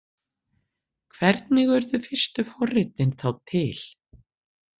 Hvernig urðu fyrstu forritin þá til?